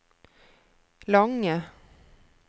lange